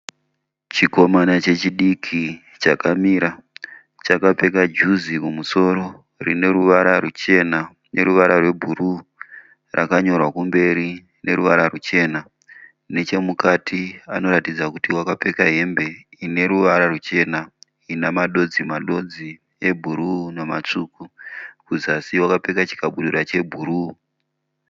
Chikomana chechidiki chakamira chakapfeka juzi kumusoro rine ruvara ruchena neruvara rwebhuruu rakanyorwa kumberi neruvara ruchena. Nechemukati anoratidza kuti wakapfeka hembe ineruvara ru chena inamadodzi madodzi ebhuruu namatsvuku. Kuzasi wakapfeka chikabudura che bhuruu.